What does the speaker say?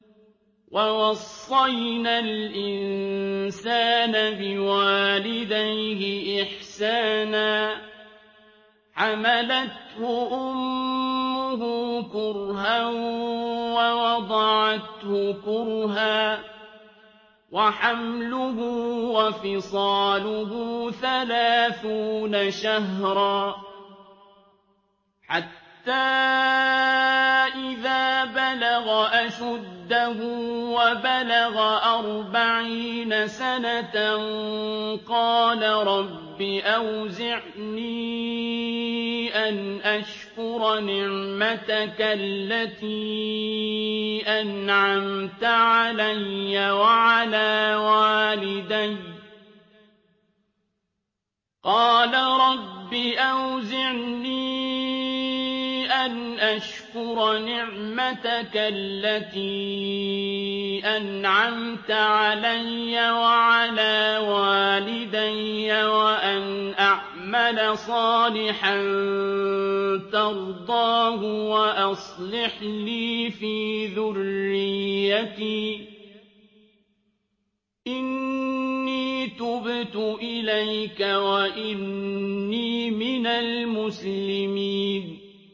وَوَصَّيْنَا الْإِنسَانَ بِوَالِدَيْهِ إِحْسَانًا ۖ حَمَلَتْهُ أُمُّهُ كُرْهًا وَوَضَعَتْهُ كُرْهًا ۖ وَحَمْلُهُ وَفِصَالُهُ ثَلَاثُونَ شَهْرًا ۚ حَتَّىٰ إِذَا بَلَغَ أَشُدَّهُ وَبَلَغَ أَرْبَعِينَ سَنَةً قَالَ رَبِّ أَوْزِعْنِي أَنْ أَشْكُرَ نِعْمَتَكَ الَّتِي أَنْعَمْتَ عَلَيَّ وَعَلَىٰ وَالِدَيَّ وَأَنْ أَعْمَلَ صَالِحًا تَرْضَاهُ وَأَصْلِحْ لِي فِي ذُرِّيَّتِي ۖ إِنِّي تُبْتُ إِلَيْكَ وَإِنِّي مِنَ الْمُسْلِمِينَ